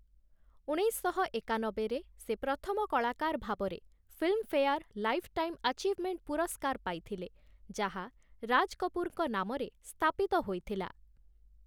ଉଣେଇଶଶହ ଏକାନବେରେ ସେ ପ୍ରଥମ କଳାକାର ଭାବରେ ଫିଲ୍ମଫେୟାର ଲାଇଫ୍ ଟାଇମ୍ ଆଚିଭମେଣ୍ଟ ପୁରସ୍କାର ପାଇଥିଲେ, ଯାହା ରାଜ କପୁରଙ୍କ ନାମରେ ସ୍ଥାପିତ ହୋଇଥିଲା ।